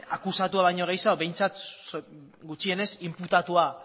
akusatua baino gehiago behintzat gutxienez inputatua